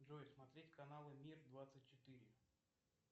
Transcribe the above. джой смотреть каналы мир двадцать четыре